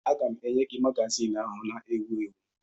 Aga m enye gị magazin ahụ na-ewu ewu